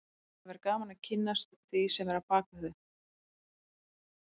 Það væri gaman að kynnast því sem er á bak við þau